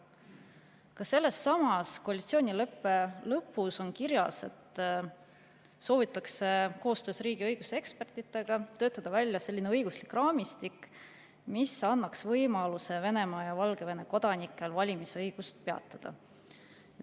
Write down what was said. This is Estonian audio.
Ka sealsamas koalitsioonileppe lõpus on kirjas, et soovitakse koostöös riigiõiguse ekspertidega töötada välja selline õiguslik raamistik, mis annaks võimaluse Venemaa ja Valgevene kodanikel valimisõiguse peatada.